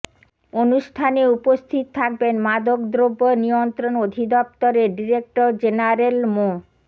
অনুষ্ঠানে উপস্থিত থাকবেন মাদকদ্রব্য নিয়ন্ত্রণ অধিদপ্তরের ডিরেক্টর জেনারেল মো